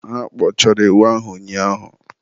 Ha kpọchara ewu ahụ ụnyaahụ